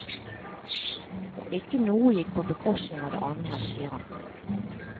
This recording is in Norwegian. Og ikke noe gikk på bekostning av det andre, sier han.